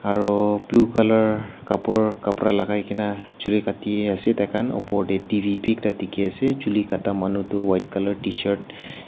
Aro blue colour kabor kabra lakai kena jule kate ase taikhan upor de dere beh ekta dekhe ase jule kata manu tu white colour tshirt uh.